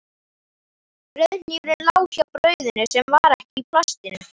Brauðhnífurinn lá hjá brauðinu sem var ekki í plastinu.